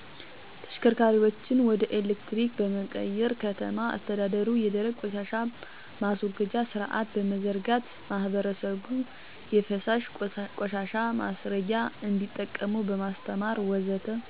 ተሽከርካሪዎችን ወደ ኤሌክትሪክ በመቀየር፣ ከተማ አስተዳደሩ የደረቅ ቆሻሻ ማስወገጃ ስርአት በመዘርጋት፣ ማህበረሰቡ የፈሳሽ ቆሻሻ ማስረጊያ እንዲጠቀሙ በማስተማር ወዘተ...